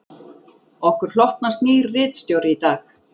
Okkur hlotnast nýr ritstjóri í dag